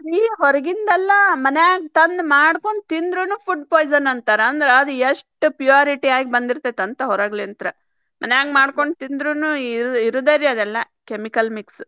ಅಲ್ರಿ ಹೊರಗಿಂದಲ್ಲಾ ಮನ್ಯಾಗ್ ತಂದ ಮಾಡ್ಕೊಂಡ್ ತಿಂದ್ರುನು food poison ಅಂತಾರ ಅಂದ್ರ್ ಆದ್ ಎಷ್ಟ purity ಆಗಿ ಬಂದಿರ್ತೇತಂತ ಹೊರಗ್ಲಿಂತ್ರ ಮನ್ಯಾಗ್ ಮಾಡ್ಕೊಂಡ್ ತಿಂದ್ರುನು ಇರು~ ಇರುದರೀ ಅದೆಲ್ಲಾ chemical mix .